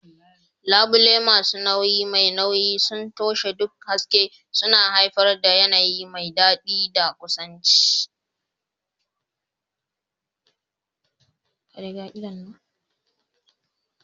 Labule masu nauyi mai nauyi sun toshe duk haske, suna haifar da yanayi mai daɗi da kusanci.